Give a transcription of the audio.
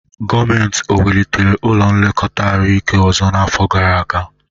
Gọọmenti ọ wulitere ụlọ nlekọta ahụike ọzọ n'afọ gara aga?